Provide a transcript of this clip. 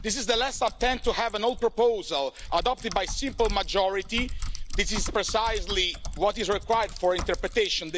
This is the last attempt to have an old proposal adopted by simple majority. This is precisely what is required for interpretation.